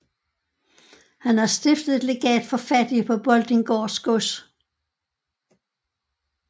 Han har stiftet et legat for fattige på Boltinggaards gods